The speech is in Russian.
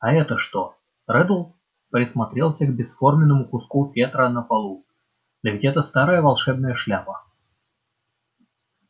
а это что реддл присмотрелся к бесформенному куску фетра на полу да ведь это старая волшебная шляпа